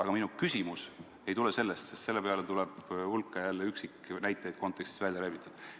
Aga minu küsimus ei tule selle kohta, sest selle peale tuleb jälle hulk üksiknäiteid, mis on kontekstist välja rebitud.